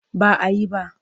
Ba a yi ba.